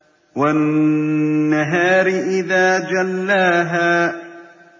وَالنَّهَارِ إِذَا جَلَّاهَا